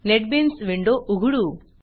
NetBeans window उघडू